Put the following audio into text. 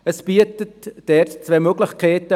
Es bieten sich hier zwei wichtige Möglichkeiten: